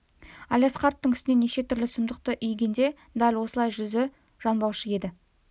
әлиасқаровтың үстінен неше түрлі сұмдықты үйгенде де дәл осылай жүзі жанбаушы еді